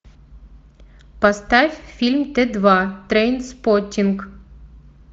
поставь фильм тэ два трейнспоттинг